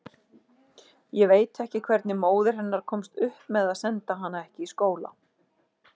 Ég veit ekki hvernig móðir hennar komst upp með að senda hana ekki í skóla.